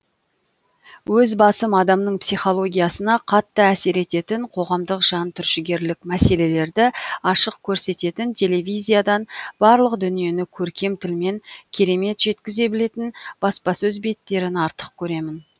өз басым адамның психологиясына қатты әсер ететін қоғамдық жантүршігерлік мәселерді ашық көрсететін телевизиядан барлық дүниені көркем тілмен керемет жеткізе білетін баспасөз беттерін артық көремін